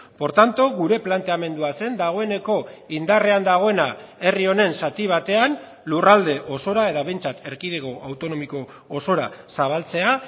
por tanto gure planteamendua zen dagoeneko indarrean dagoena herri honen zati batean lurralde osora edo behintzat erkidego autonomiko osora zabaltzea